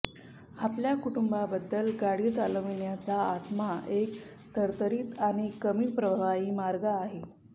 आपल्या कुटुंबाबद्दल गाडी चालविण्याचा आत्मा एक तरतरीत आणि कमी प्रभावी मार्ग आहे